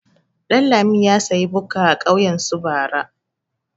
Ɗanlami ya sayi bukka a kauyen su bara.